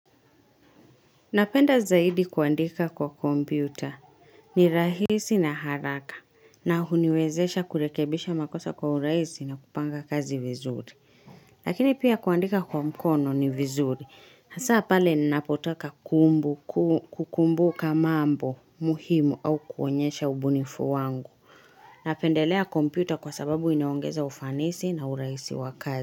Napenda zaidi kuandika kwa kompyuta ni rahisi na haraka na huniwezesha kurekebisha makosa kwa urahisi na kupanga kazi vizuri. Lakini pia kuandika kwa mkono ni vizuri. Hasa pale napotaka kukumbuka maambo muhimu au kuonyesha ubunifu wangu. Napendelea kompyuta kwa sababu iniongeza ufanisi na uraisi wa kazi.